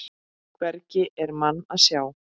Hvergi er mann að sjá.